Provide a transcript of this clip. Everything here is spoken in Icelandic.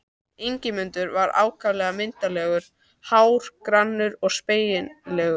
Ingimundur var ákaflega myndarlegur, hár, grannur og spengilegur.